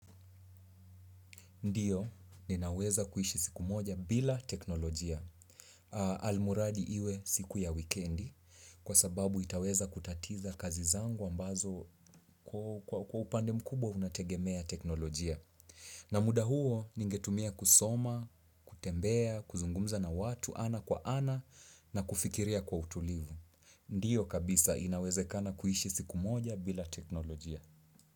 Ndiyo, ninaweza kuishi siku moja bila teknolojia. Almuradi iwe siku ya weekendi, kwa sababu itaweza kutatiza kazi zangu ambazo kwa upande mkubwa unategemea teknolojia. Na muda huo, ningetumia kusoma, kutembea, kuzungumza na watu ana kwa ana na kufikiria kwa utulivu. Ndiyo kabisa, inawezakana kuishi siku moja bila teknolojia.